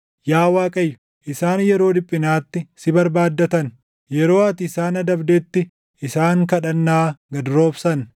Yaa Waaqayyo, isaan yeroo dhiphinaatti si barbaaddatan; yeroo ati isaan adabdetti isaan kadhannaa gad roobsan.